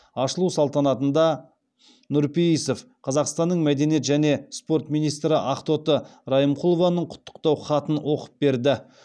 ашылу салтанатында нұрпейісов қазақстанның мәдениет және спорт министрі ақтоты райымқұлованың құттықтау хатын оқып берді